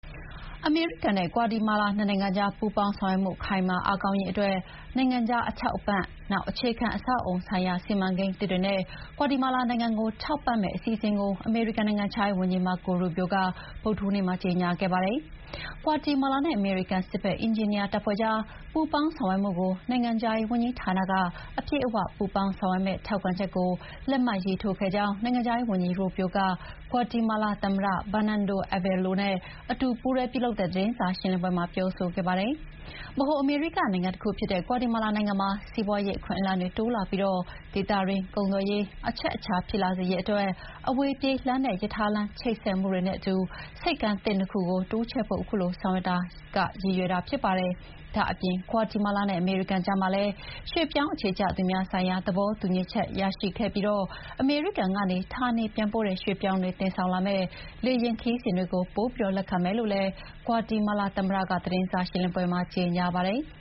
အမေရိကန်နဲ့ ဂွါတီမာလာ နိုင်ငံကြား ပူးပေါင်းဆောင်ရွက်မှု ခိုင်မာ အားကောင်းရေး အတွက် နိုင်ငံခြား အထောက်အပံ့ ၊ နောက် အခြေခံ အဆောက်အအုံဆိုင်ရာ စီမံကိန်းသစ်တွေနဲ့ ဂွါတီမာလာနိုင်ငံကို ထောက်ပံ့မယ့် အစီအစဉ်ကို အမေရိကန် နိုင်ငံခြားရေး ဝန်ကြီး Marco Rubio က ဗုဒ္ဓဟူးနေ့မှာ ကြေညာခဲ့ပါတယ်။ ဂွါတီမာလာနဲ့ အမေရိကန် စစ်ဘက် အင်ဂျင်နီယာ တပ်ဖွဲ့ကြား ပူးပေါင်းဆောင်ရွက်မှုကို နိုင်ငံခြားရေး ဝန်ကြီးဌာနက အပြည့်အ၀ ပူးပေါင်းဆောင်ရွက်မယ့် ထောက်ခံချက်ကို လက်မှတ်ရေးထိုးခဲ့ကြောင်း နိုင်ငံခြားရေး ဝန်ကြီး Rubio က ဂွါတီမာလာ သမ္မတ Bernardo Are’valo နဲ့ အတူလုပ်တဲ့ သတင်းစာ ရှင်းလင်းပွဲမှာ ပြောဆိုခဲ့ပါတယ်။ ဗဟိုအမေရိက နိုင်ငံ တခုဖြစ်တဲ့ ဂွါတီမာလာ နိုင်ငံမှာ စီးပွားရေး အခွင့်အလမ်းတွေ တိုးလာပြီး ဒေသတွင်း ကုန်သွယ်ရေး အချက်အချာ ဖြစ်လာစေရေး အတွက် အဝေးပြေးလမ်းနဲ့ ရထားလမ်းချိတ်ဆက်မှုတွေနဲ့ အတူ ဆိပ်ကမ်းသစ် ၂ ခုကို တိုးချဲ့ဖို့ အခုဆောင်ရွက်ချက်က ရည်ရွယ်တာ ဖြစ်ပါတယ်။ ဒါ့အပြင် ဂွါတီမာလာနဲ့ အမေရိကန် ကြားမှာလည်း ရွှေ့ပြောင်း အခြေချသူများဆိုင်ရာ သဘောတူညီချက်သစ် ရရှိခဲ့ပြီး အမေရိကန်ကနေ ဌာနေပြန်ပို့တဲ့ ရွှေ့ပြောင်းတွေ တင်ဆောင်လာမယ့် လေယာဉ် ခရီးစဉ်တွေကို ပိုပြီး လက်ခံမယ်လို့လည်း ဂွါတီမာလာ သမ္မတက သတင်းစာရှင်းလင်းပွဲမှာ ကြေညာပါတယ်။